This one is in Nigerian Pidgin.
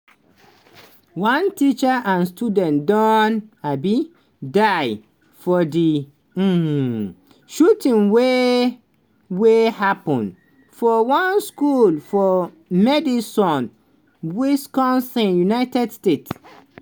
one teacher and student don um die for di um shooting wey wey happun for one school for madison wisconsin united states.